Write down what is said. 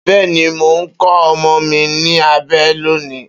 Beeni, mo nko omo mi ni abe loni.